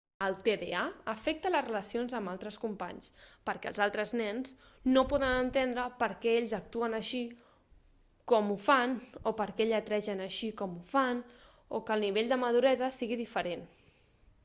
el tda afecta les relacions amb els altres companys perquè els altres nens no poden entendre per què ells actuen així com ho fan o per què lletregen així com ho fan o que el nivell de maduresa sigui diferent